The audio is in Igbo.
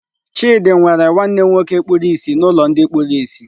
Chidi nwere nwanne nwoke kpuru ìsì n'ụlọ ndị kpuru ìsì.